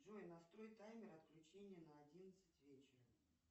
джой настрой таймер отключения на одиннадцать вечера